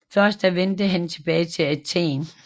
Først da vendte han tilbage til Athen